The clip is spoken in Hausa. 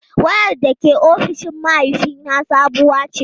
Wayar da ke ofishin mahaifina sabuwa ce.